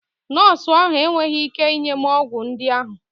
Nọọsụ ahụ enweghị ike inye m ọgwụ ndị ahụ.